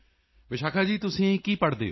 ਵਿਸ਼ਾਖਾ ਜੀ ਤੁਸੀਂ ਕੀ ਪੜ੍ਹਦੇ ਹੋ